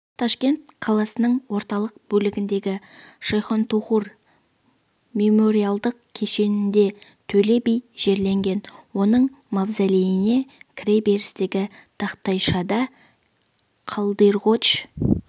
ташкент қаласының орталық бөлігіндегі шайхонтохур мемориалдық кешенінде төле би жерленген оның мавзолейіне кіре берістегі тақтайшада қалдирғоч